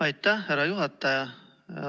Aitäh, härra juhataja!